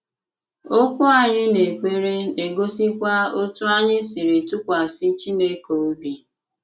Okwú anyị n’èkpere na-egosikwa otú anyị siri tụkwasị Chineke óbị.